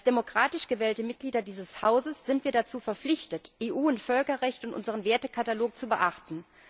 Als demokratisch gewählte Mitglieder dieses Hauses sind wir dazu verpflichtet, EU und Völkerrecht in unserem Wertekatalog zu beachten.